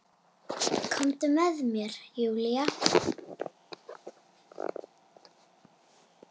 Komdu með mér Júlía.